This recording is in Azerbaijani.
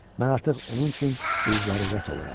Mən artıq onun üçün bir zərurət oluram.